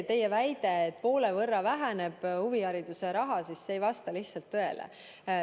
Teie väide, et huvihariduse raha väheneb poole võrra, ei vasta lihtsalt tõele.